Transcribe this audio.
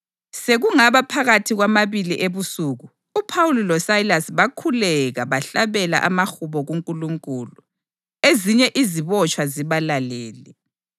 Sekungaba phakathi kwamabili ebusuku uPhawuli loSayilasi bakhuleka bahlabela amahubo kuNkulunkulu, ezinye izibotshwa zibalalele.